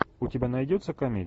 у тебя найдется комедия